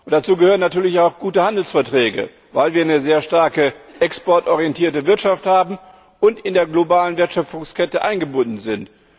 Dazu gehören natürlich auch gute Handelsverträge, weil wir eine sehr stark exportorientierte Wirtschaft haben und in der globalen Wertschöpfungskette eingebunden sind.